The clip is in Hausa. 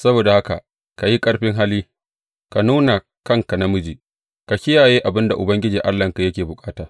Saboda haka ka yi ƙarfin hali, ka nuna kanka namiji, ka kiyaye abin da Ubangiji Allahnka yake bukata.